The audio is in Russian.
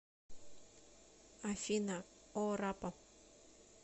афина о раппа